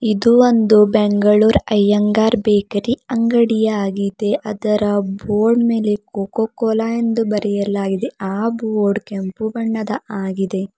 ಇದು ಒಂದು ಬೆಂಗಳೂರು ಐಯ್ಯಂಗಾರ್ ಬೇಕರಿ ಅಂಗಡಿ ಆಗಿದೆ ಅದರ ಬೋರ್ಡ್ ಮೇಲೆ ಕೋಕೋ ಕೊಲಾ ಎಂದು ಬರೆಯಲಾಗಿದೆ ಆ ಬೋರ್ಡ್ ಕೆಂಪು ಬಣ್ಣದ ಆಗಿದೆ.